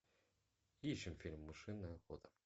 ищем фильм мышиная охота